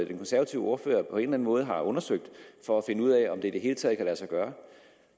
den konservative ordfører på en måde har undersøgt for at finde ud af om det i det hele taget kan lade sig gøre